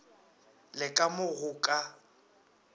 le ka mo go ka